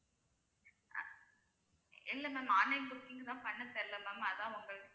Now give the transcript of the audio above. ஆஹ் இல்லை ma'am online booking தா பண்ண தெரியலே ma'am அதான் உங்களுக்கு